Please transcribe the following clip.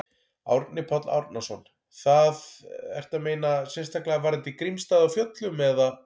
Árni Páll Árnason: Það, ertu að meina sérstaklega varðandi Grímsstaði á Fjöllum, eða?